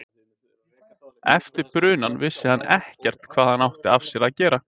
Eftir brunann vissi hann ekkert hvað hann átti af sér að gera.